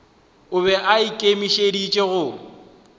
o be a ikemišeditše go